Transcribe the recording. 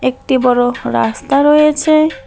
একটি বড়ো রাস্তা রয়েছে।